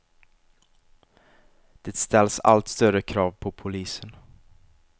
Det ställs allt större krav på polisen.